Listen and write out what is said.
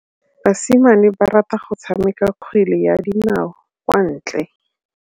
Basimane ba rata go tshameka kgwele ya dinaô kwa ntle.